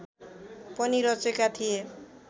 पनि रचेका थिए